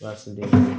basu da yawa.